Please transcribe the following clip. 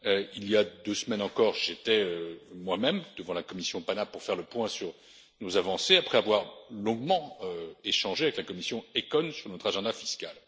Il y a deux semaines encore, j'étais moi même devant la commission PANA pour faire le point sur nos avancées après avoir longuement échangé avec la commission ECON sur notre agenda fiscal.